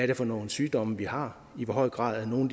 det for nogle sygdomme vi har i hvor høj grad er nogle